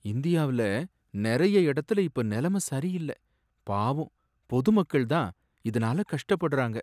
இந்தியாவுல நிறைய இடத்துல இப்ப நிலைமை சரியில்ல. பாவம், பொதுமக்கள் தான் இதுனால கஷ்டப்படுறாங்க.